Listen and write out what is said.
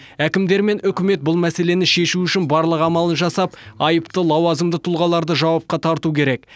әкімдер мен үкімет бұл мәселені шешу үшін барлық амалын жасап айыпты лауазымды тұлғаларды жауапқа тарту керек